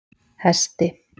Hesti